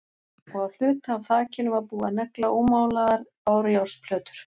Og á hluta af þakinu var búið að negla ómálaðar bárujárnsplötur.